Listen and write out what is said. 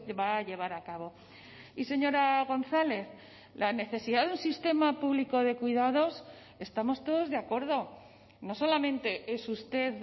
va a llevar a cabo y señora gonzález la necesidad de un sistema público de cuidados estamos todos de acuerdo no solamente es usted